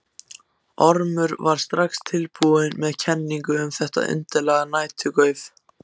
Ormur var strax tilbúinn með kenningu um þetta undarlega næturgauf.